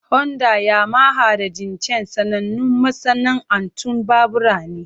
Honda, Yamaha, da Jincheng sanannun masana'antun babura ne.